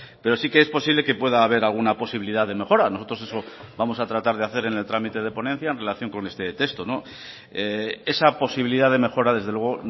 pero sí que es posible que pueda haber alguna posibilidad de mejora nosotros eso vamos a tratar de hacer en el trámite de ponencia en relación con este texto esa posibilidad de mejora desde luego